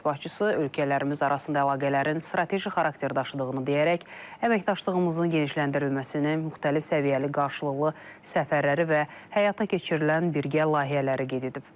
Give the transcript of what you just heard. Dövlət başçısı ölkələrimiz arasında əlaqələrin strateji xarakter daşıdığını deyərək əməkdaşlığımızın genişləndirilməsini, müxtəlif səviyyəli qarşılıqlı səfərləri və həyata keçirilən birgə layihələri qeyd edib.